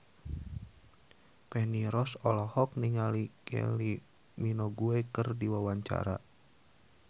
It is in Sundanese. Feni Rose olohok ningali Kylie Minogue keur diwawancara